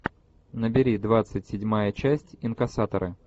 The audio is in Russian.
набери двадцать седьмая часть инкассаторы